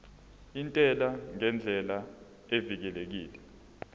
intela ngendlela evikelekile